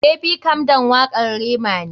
Baby calm down wakar Rema ne.